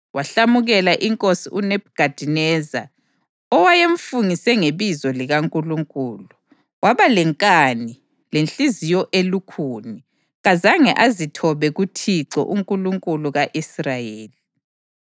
Wahlamukela inkosi uNebhukhadineza, owayemfungise ngebizo likaNkulunkulu. Waba lenkani, lenhliziyo elukhuni, kazange azithobe kuThixo, uNkulunkulu ka-Israyeli.